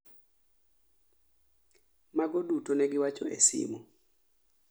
Mago duto negiwacho e simu